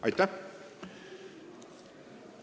Aitäh!